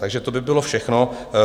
Takže to by bylo všechno.